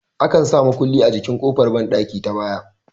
Akan sa mukulli a jikin ƙofar banɗaki ta baya